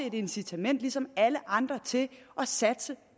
et incitament ligesom alle andre til at satse